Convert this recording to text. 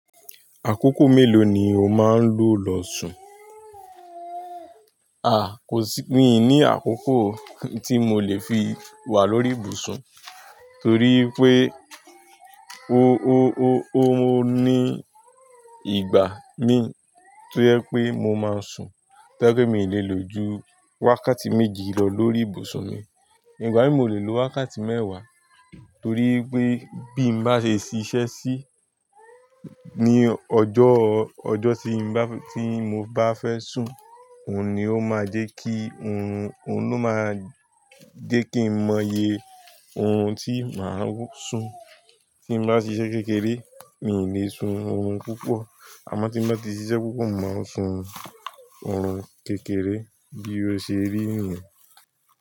Àkókò mélòó ni o máa ń lo lọ sùn? Kò sí, mi ní àkókò tí mo lè fi wà lórí ìbùsùn torí pé ó ní ìgbà mi tó yẹ pé mo máa ń sùn tó pé mi lè lo ju wákàtí méjì lọ lórí ìbùsùn mi. Ìgbà míì mo lè lo wákàtí mẹ́wàá torí pé bí mo bá ṣe ṣíṣe sí ní ọjọ́, ọjọ́ tí bá, tí mo bá fẹ́ sùn, òun ni ó máa jẹ́ kí, orun, òun ló máa jẹ́ kí mo mọye orun tí màá sùn. Tí mo bá ṣe iṣẹ́ kékeré, mi ò lè sun oorun púpọ̀. Àmọ́ tí mo bá ti ṣiṣẹ́ púpọ̀, màá sun oorun kékeré bí o ṣe rí nùú.